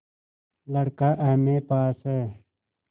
लड़का एमए पास हैं